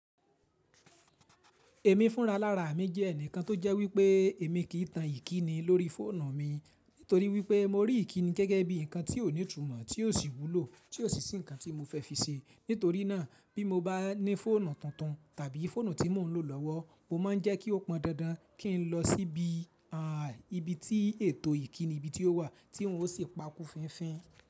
Èmi fúnra lára mi jẹ́ ẹnìkan tó jẹ́ wípé èmi kì í tan ìkíni lórí fóònù mi nítorí wípé mo rí ìkíni gẹ́gẹ́ bí ǹnkan tí ó ní ìtumọ̀ tí ó sì wúlò tí ó sì sì ǹnkan tí mo fẹ́ fi ṣe. Nítorí náà bí mo bá ní fóònù tuntun tàbí fóònù tí mò ń lò lọ́wọ́, mo máa ń jẹ́ kí ó pọn dandan kí n lọ sí ibi tí ètò ìkíni ibí tí ó wà tí n ó sì pa kú fínfín.